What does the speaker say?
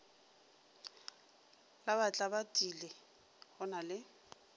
la batlabatlile go na le